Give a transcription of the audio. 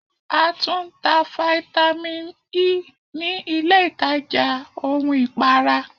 A tún ń ta Vitamin Ẹ ní ilé ìtajà ohun ìpara.